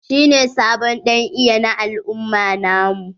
Shi ne sabon dan iya na al'umma na mu.